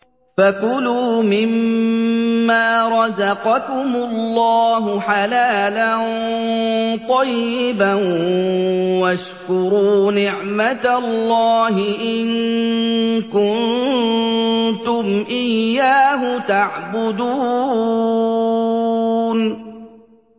فَكُلُوا مِمَّا رَزَقَكُمُ اللَّهُ حَلَالًا طَيِّبًا وَاشْكُرُوا نِعْمَتَ اللَّهِ إِن كُنتُمْ إِيَّاهُ تَعْبُدُونَ